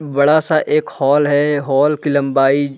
बड़ा -सा एक हॉल है हॉल की लंबाई --